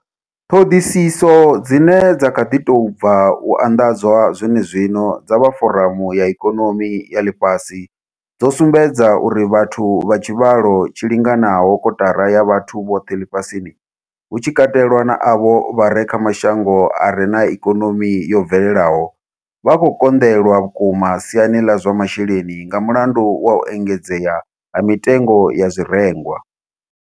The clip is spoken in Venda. Ṱhoḓisiso dzine dza kha ḓi tou bva u anḓadzwa zwenezwino dza vha Foramu ya Ikonomi ya Ḽifhasi dzo sumbedza uri vhathu vha tshivhalo tshi linganaho kotara ya vhathu vhoṱhe ḽifhasini, hu tshi katelwa na avho vha re kha mashango a re na ikonomi yo bvelelaho, vha khou konḓelwa vhukuma siani ḽa zwa masheleni nga mulandu wa u engedzea ha mitengo ya zwirengwa.